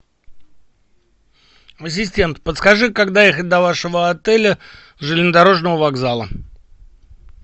ассистент подскажи как доехать до вашего отеля с железнодорожного вокзала